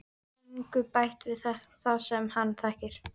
Engu bætt við það sem hann þekkir.